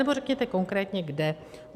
Anebo řekněte konkrétně kde.